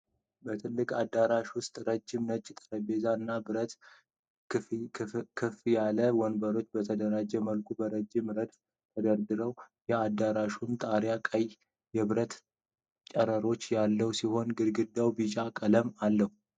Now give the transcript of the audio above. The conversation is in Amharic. በትልቁ አዳራሽ ውስጥ ረዥም ነጭ ጠረጴዛዎች እና ብረት ክፈፍ ያላቸው ወንበሮች በተደራጀ መልኩ በረጅም ረድፎች ተደርድረዋል። የአዳራሹ ጣሪያ ቀይ የብረት ጨረሮች ያሉት ሲሆን ግድግዳው ቢጫ ቀለም አለው።